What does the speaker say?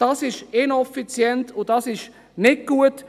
Das ist ineffizient, und das ist nicht gut.